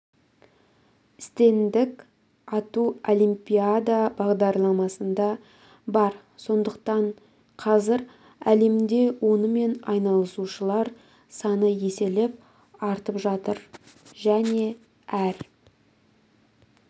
стендік ату олимпиада бағдарламасында бар сондықтан қазір әлемде онымен айналысушылар саны еселеп артып жатыр және әр